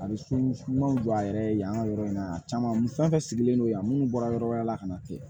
A bɛ so ɲumanw don a yɛrɛ ye yan yɔrɔ in na caman fɛn fɛn sigilen don yan minnu bɔra yɔrɔ wɛrɛ la ka na ten